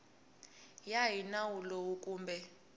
ya hi nawu lowu kumbe